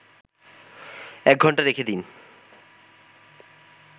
১ ঘণ্টা রেখেদিন